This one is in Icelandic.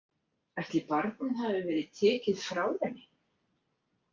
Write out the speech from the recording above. Ætli barnið hafi verið tekið frá henni?